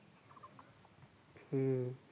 হু